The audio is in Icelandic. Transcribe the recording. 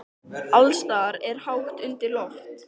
Alls staðar er hátt undir loft.